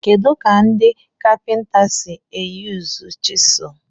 Kedu ka ndị kapinta si eyuzu chiselu?